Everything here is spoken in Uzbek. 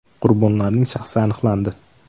Qurbonlarning shaxsi aniqlandi.